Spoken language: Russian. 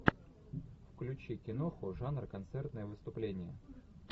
включи киноху жанр концертное выступление